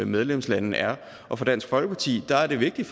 medlemslande er og for dansk folkeparti er det vigtigt